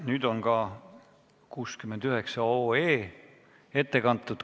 Nüüd on ka eelnõu 69 ette kantud.